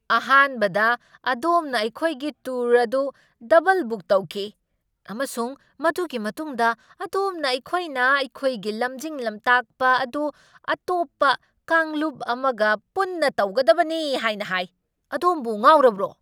ꯑꯍꯥꯟꯕꯗ, ꯑꯗꯣꯝꯅ ꯑꯩꯈꯣꯏꯒꯤ ꯇꯨꯔ ꯑꯗꯨ ꯗꯕꯜ ꯕꯨꯛ ꯇꯧꯈꯤ ꯑꯃꯁꯨꯡ ꯃꯗꯨꯒꯤ ꯃꯇꯨꯡꯗ ꯑꯗꯣꯝꯅ ꯑꯩꯈꯣꯏꯅ ꯑꯩꯈꯣꯏꯒꯤ ꯂꯝꯖꯤꯡ ꯂꯝꯇꯥꯛꯄ ꯑꯗꯨ ꯑꯇꯣꯞꯄ ꯀꯥꯡꯂꯨꯞ ꯑꯃꯒ ꯄꯨꯟꯅ ꯇꯧꯒꯗꯕꯅꯤ ꯍꯥꯏꯅ ꯍꯥꯏ꯫ ꯑꯗꯣꯝꯕꯨ ꯉꯥꯎꯔꯕ꯭ꯔꯣ!